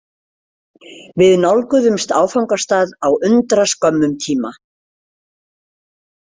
Við nálguðumst áfangastað á undraskömmum tíma.